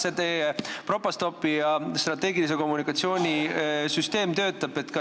Kuidas see teie Propastopi ja strateegilise kommunikatsiooni süsteem töötab?